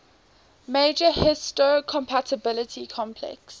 major histocompatibility complex